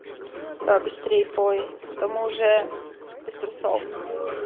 давай побыстрее пой а то мы уже без трусов